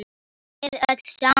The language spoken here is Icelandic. Við öll saman.